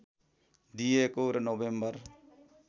दिइएको र नोभेम्बर